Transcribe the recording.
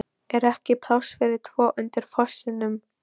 ER EKKI PLÁSS FYRIR TVO UNDIR FOSSINUM?